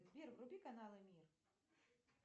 сбер вруби каналы мир